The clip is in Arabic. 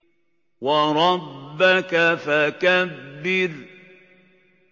وَرَبَّكَ فَكَبِّرْ